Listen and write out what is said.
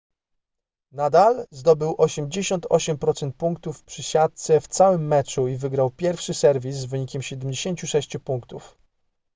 nadal zdobył 88% punktów przy siatce w całym meczu i wygrał pierwszy serwis z wynikiem 76 punktów